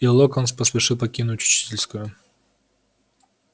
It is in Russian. и локонс поспешил покинуть учительскую